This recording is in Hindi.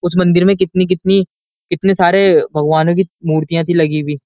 उस मंदिर में कितनी कितनी कितने सारे भगवानों की मूर्तियां थी लगी हुई।